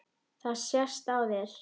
Það sést á þér